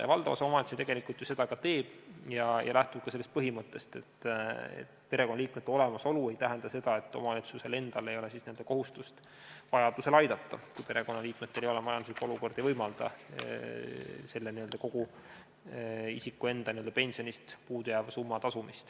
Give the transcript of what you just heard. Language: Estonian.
Valdav osa omavalitsusi tegelikult seda ka teeb, lähtudes põhimõttest: perekonnaliikmete olemasolu ei tähenda seda, et omavalitsusel endal ei ole enam kohustust vajaduse korral aidata, kui perekonnaliikmete majanduslik olukord ei võimalda inimese enda pensionist puudu jäävat summat tasuda.